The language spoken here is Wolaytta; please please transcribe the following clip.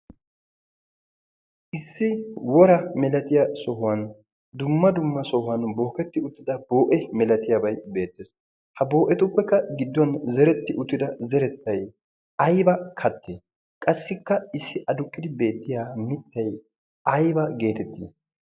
issi wora milatiyaa sohuwan dumma dumma sohuwan booketti uttida boo7e milatiyaabai beettees. ha boo7etuppekka gidduwan zeretti uttida zerettai aiba kattee? qassikka issi aduqqidi beettiya mittai aiba geetettii?